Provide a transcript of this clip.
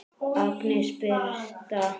Agnes Birtna.